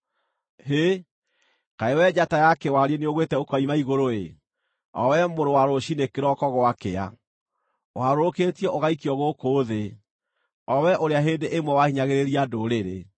Hĩ! Kaĩ wee njata ya kĩwariĩ nĩũgwĩte ũkoima igũrũ-ĩ, o wee mũrũ wa rũciinĩ kĩroko gwakĩa! Ũharũrũkĩtio ũgaikio gũkũ thĩ, o wee ũrĩa hĩndĩ ĩmwe wahinyagĩrĩria ndũrĩrĩ!